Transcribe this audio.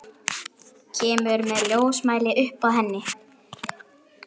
Kemur með ljósmæli upp að henni.